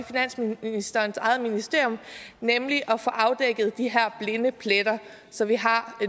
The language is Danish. finansministerens eget ministerium nemlig at få afdækket de her blinde pletter så vi har